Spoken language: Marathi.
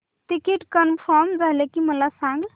तिकीट कन्फर्म झाले की मला सांग